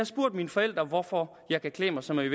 spurgt mine forældre hvorfor jeg kan klæde mig som jeg